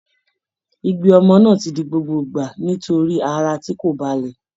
Igbe ọmọ náà ti di gbogbo ìgbà nítorí ara tí kò balẹ̀